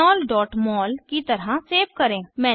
ethanolमोल की तरह सेव करें